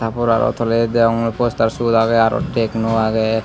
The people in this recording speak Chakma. ta por aro tole degong poster seyot agey aro tecno agey.